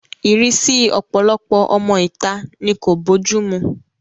Ìrísí ọ̀pọ̀lọpọ̀ ọmọ ìta ni kò bójú mu